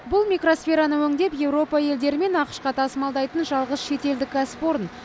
бұл микросфераны өңдеп еуропа елдері мен ақш қа тасымалдайтын жалғыз шетелдік кәсіпорын